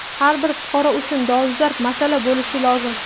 har bir fuqaro uchun dolzarb masala bo‘lishi lozim.